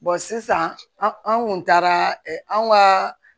sisan an kun taara an ka